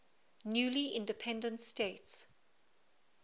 newly independent states